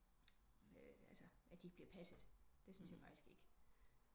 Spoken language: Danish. Altså at de ikke bliver passet det syntes jeg faktisk ikke